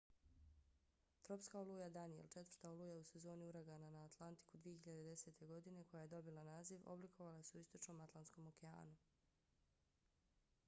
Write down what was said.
tropska oluja danielle četvrta oluja u sezoni uragana na atlantiku 2010. godine koja je dobila naziv oblikovala se u istočnom atlantskom okeanu